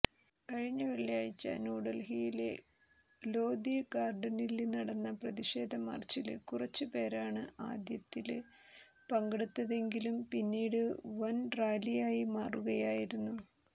കഴിഞ്ഞ വെള്ളിയാഴ്ച്ച ന്യൂഡല്ഹിയിലെ ലോധിഗാര്ഡനില് നടന്ന പ്രതിഷേധ മാര്ച്ചില് കുറച്ചു പേരാണ് ആദ്യത്തില് പങ്കെടുത്തതെങ്കിലും പിന്നീടത് വന് റാലിയായി മാറുകയായിരുന്നു